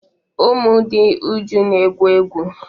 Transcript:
Ụmụ dị Uju na-egwu egwu.